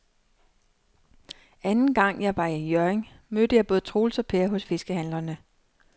Anden gang jeg var i Hjørring, mødte jeg både Troels og Per hos fiskehandlerne.